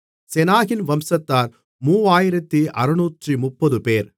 செனாகின் வம்சத்தார் 3630 பேர்